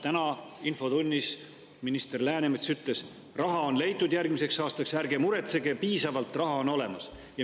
Täna infotunnis minister Läänemets ütles, et raha on järgmiseks aastaks leitud, ärge muretsege, piisavalt raha on olemas.